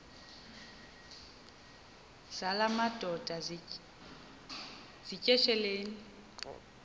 zala madoda yityesheleni